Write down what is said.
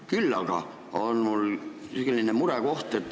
Küll aga on mul ka üks murekoht.